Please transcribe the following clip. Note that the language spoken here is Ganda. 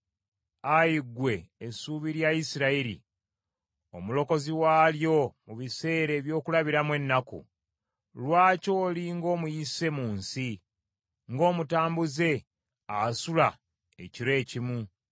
Ayi ggwe essuubi lya Isirayiri, Omulokozi waalyo mu biseera eby’okulabiramu ennaku, lwaki oli ng’omuyise mu nsi, ng’omutambuze asula ekiro ekimu?